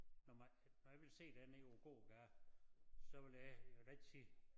Når man når jeg ville se dig nede på æ gågade så ville jeg jeg da ikke sige